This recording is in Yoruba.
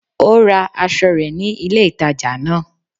Ó ra aso rè ni ilé ìtajà náà